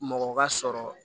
Mɔgɔ ka sɔrɔ